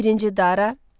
Birinci Dara.